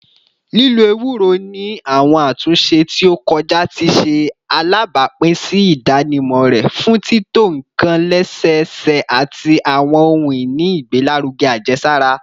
Lilo ewuro ni awọn atunṣe ti o kọja ti ṣe alabapin si idanimọ rẹ fun tito nkan lẹsẹsẹ ati awọn ohun-ini igbelaruge ajesara.